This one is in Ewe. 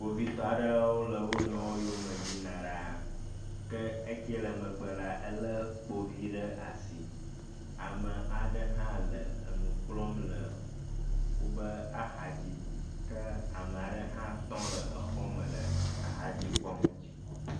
Kpovitɔ aɖewo le wo nɔewo yome yina ɖaa. Ke ekɛ le megbe la elé kpovi ɖe asi. Ame aɖe hã le enu kplɔm le woƒe axadzi ke ame aɖe hã tɔ le exɔ me le axadzi kpɔm.